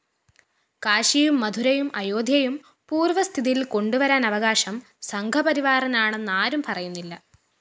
കാശിയും മഥുരയും അയോധ്യയും പൂര്‍വസ്ഥിതിയില്‍ കൊണ്ടുവരാന്‍ അവകാശം സംഘപരിവാറിനാണെന്നാരും പറയുന്നില്ല